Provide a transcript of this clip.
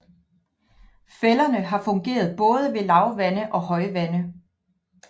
Fælderne har fungeret både ved lavvande og højvande